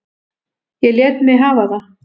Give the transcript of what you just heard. Ég lét mig hafa það.